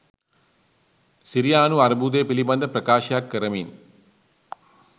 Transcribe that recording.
සිරියානු අර්බුදය පිළිබඳ ප්‍රකාශයක් කරමින්